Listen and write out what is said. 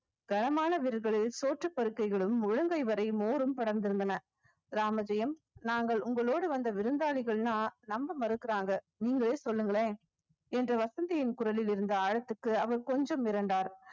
வீடுகளில் சோற்றுப் பருக்கைகளும் முழங்கை வரை மோரும் படர்ந்திருந்தன ராமஜெயம் நாங்கள் உங்களோடு வந்த விருந்தாளிகள்ன்னா நம்ப மறுக்கிறாங்க நீங்களே சொல்லுங்களேன் என்ற வசந்தியின் குரலில் இருந்த ஆழத்துக்கு அவர் கொஞ்சம் மிரண்டார்